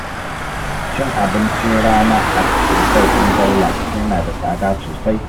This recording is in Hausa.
Cin abincin rana a otal ɗin Daula yana da tsada sosai